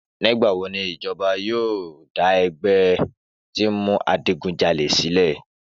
Nígbà wó ni ìjọ́bà yio dà ẹgbẹ ti ń mú àjígúnjàlẹ silẹ?